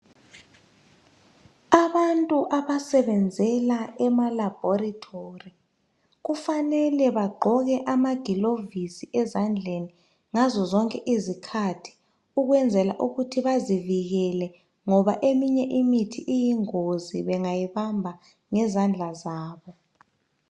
Abantu abasebenzela ema laboratory kufanele bagqoke amagilovisi ezandleni ngazozonke izikhathi ukwenzela ukuthi bazivikele ngoba eminye imithi iyingozi bengayibamba ngezandla zabo.